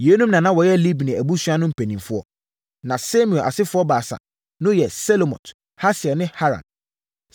Yeinom na na wɔyɛ Libni abusua no mpanimfoɔ. Na Simei asefoɔ baasa no ne Selomot, Hasiel ne Haran.